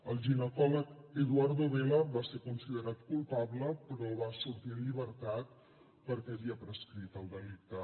el ginecòleg eduardo vela va ser considerat culpable però va sortir en llibertat perquè havia prescrit el delicte